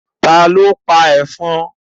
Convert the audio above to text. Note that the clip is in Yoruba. Ta ló pa ẹ̀fọn?